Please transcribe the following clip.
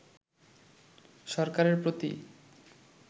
সরকারের প্রতি